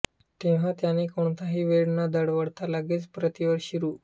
तेव्हा त्याने कोणताही वेळ न दवडता लगेच प्रतिवर्षी रु